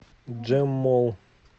джэм молл